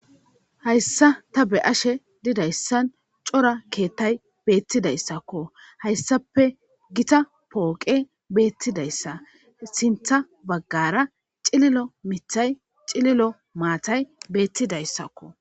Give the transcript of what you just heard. hayssa ta be'ashe didayssan cora keettay beettidayssakko hayssape gita pooqe beettidayssa sintha baggara cililo mithay cililo maatay beettidayssakko